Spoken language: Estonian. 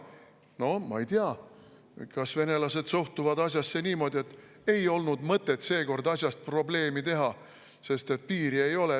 No ma ei tea, kas venelased suhtuvad asjasse niimoodi, et ei olnud mõtet seekord sellest probleemi teha, sest piiri ei ole.